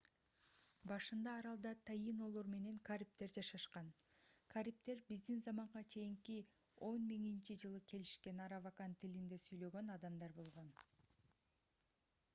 башында аралда таинолор менен карибдер жашашкан карибдер б.з.ч. 10 000-жылы келишкен аравакан тилинде сүйлөгөн адамдар болгон